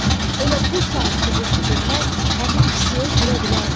Elə bu saat sübut üçün mən həmin kisəyə girə bilərəm.